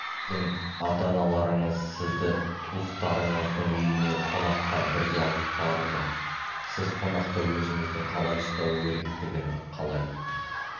сіздің ата-аналарыңыз сізді туыстарыңыздың үйіне қонаққа бірге алып барды сіз қонақта өзіңізді қалай ұстау керектігін қалай